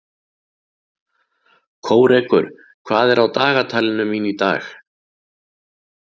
Kórekur, hvað er á dagatalinu mínu í dag?